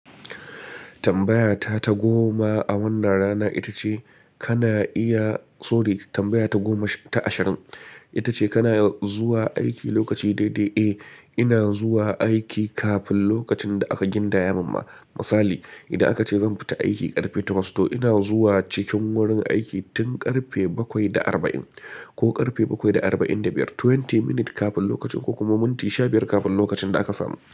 Tambaya ta ta goma a wannan rana ita ce kana iya-- sorry, tambaya ta goma ta ashirin ita ce kana zuwa aiki lokaci daidai? Eh, ina zuwa aiki kafin lokacin da aka gindaya minma Misali, idan aka ce zan fita aiki ƙarfe takwas to ina zuwa cikin wurin aiki tun ƙarfe bakwai da arba'in ko ƙarfe bakwai da arba'in da biyar. Twenty minute kafin lokaci ko kuma minti sha biyar kafin lokacin da aka samin.